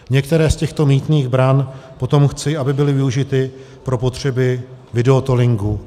Některé z těchto mýtných bran potom chci, aby byly využity pro potřeby videotollingu.